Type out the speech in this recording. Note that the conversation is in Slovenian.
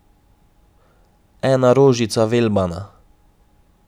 Ena rožica velbana ...